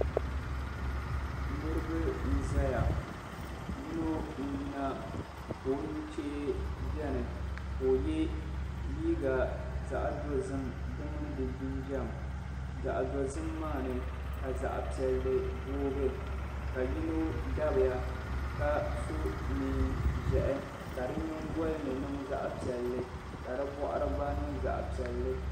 Niriba n-zaya yino n-yina ka o nuchee beni ka o ye liiga zaɣ'dozim di mini di jinjam zaɣ'dozim maa ni ka zaɣ'piɛlli booi ka yino dabiya ka so neen'ʒɛhi ka di nyingɔli ni niŋ zaɣ'piɛlli ka di bɔɣiri gba niŋ zaɣ'piɛlli.